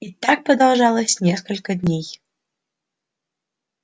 и так продолжалось несколько дней